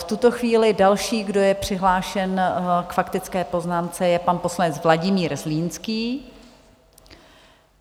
V tuto chvíli další, kdo je přihlášen k faktické poznámce, je pan poslanec Vladimír Zlínský.